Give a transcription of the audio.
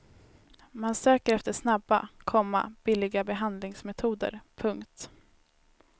Man söker efter snabba, komma billiga behandlingsmetoder. punkt